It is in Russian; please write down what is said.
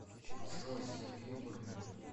джой сергей борунов